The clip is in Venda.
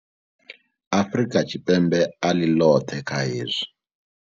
Afrika Tshipembe a ḽi ḽoṱhe kha hezwi.